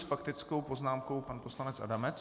S faktickou poznámkou pan poslanec Adamec.